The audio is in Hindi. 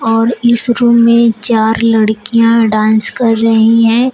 और इस रूम में चार लड़कियां डांस कर रही है।